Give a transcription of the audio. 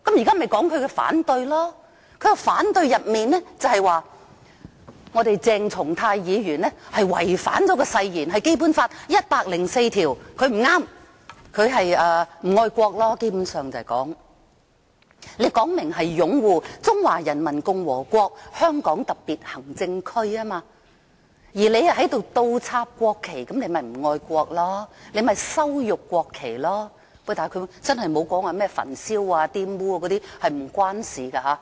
他提出反對的原因是，譴責議案說鄭松泰議員違反誓言，根據《基本法》第一百零四條，他做得不對，基本上其實是說他不愛國，因為明明說擁護中華人民共和國香港特別行政區，而他卻倒插國旗，他便是不愛國，便是羞辱國旗，但他真的沒有說甚麼焚燒或玷污，這是沒有關係的。